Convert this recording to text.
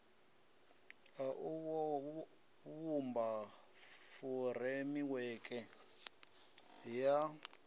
a u vhumba furemiweke ya